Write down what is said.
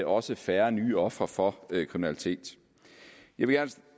også færre nye ofre for kriminalitet jeg vil